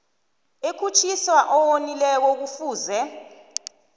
ekhutjhiswa owonileko kufuze